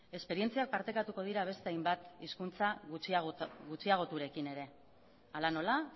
esperientzia partekatuko dira beste hainbat hizkuntza gutxiagoturekin ere hala nola